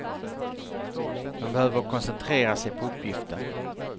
Man behöver koncentrera sig på uppgiften.